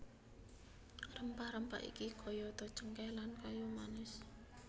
Rempah rempah iki kayata cengkéh lan kayu manis